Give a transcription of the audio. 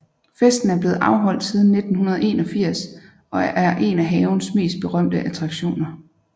Festen er blevet afholdt siden 1981 og er en af havens mest berømte attraktioner